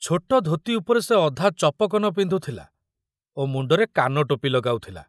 ଛୋଟ ଧୋତି ଉପରେ ସେ ଅଧା ଚପକନ ପିନ୍ଧୁଥିଲା ଓ ମୁଣ୍ଡରେ କାନଟୋପି ଲଗାଉଥିଲା।